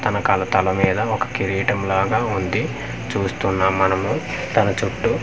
తన కల తల మీద ఒక కీరీటంలాగ ఉంది చూస్తున్నాం మనము తన చుట్టూ--